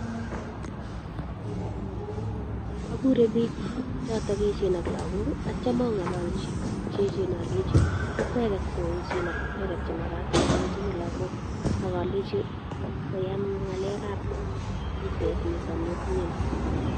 Okure biik choton yechen ak lokok akitio ong'ololchi biik che echen olenchi okweket che echen ak ko okweket cho ng'ololchini lokok ak olenchi koyam ng'alekab bitet niton nii otinye nii.